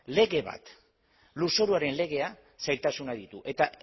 lege bat lurzoruaren legea zailtasunak ditu eta